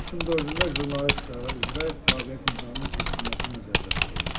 Avqustun 4-də jurnalistika üzrə qabiliyyət imtahanının keçirilməsi nəzərdə tutulub.